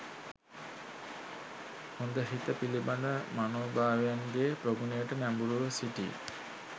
හොඳහිත පිළිබඳ මනෝභාවයන්ගේ ප්‍රගුණයට නැඹුරුව සිටී.